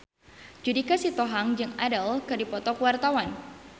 Judika Sitohang jeung Adele keur dipoto ku wartawan